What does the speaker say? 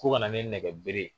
Ko ka na ni nɛgɛbere ye